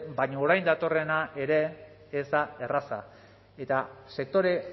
baina orain datorrena ere ez da erraza eta sektore